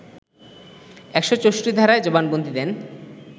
১৬৪ধারায় জবানবন্দি দেন